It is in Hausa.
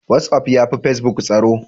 Whatsaf ya fi pacebuk tsaro.